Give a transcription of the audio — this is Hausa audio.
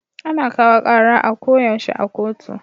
Ana kawo kara a ko yaushe a kotu